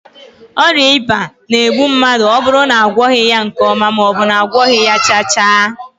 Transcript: Oria iba na- egbu mmadu oburu na agwoghi ya nke oma, maobu na agwoghi ya chaa chaa